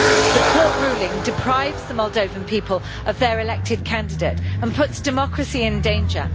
The court ruling deprives the Moldovan people of their elected candidate and puts democracy in danger.